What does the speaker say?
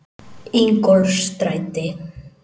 Ingólfsstræti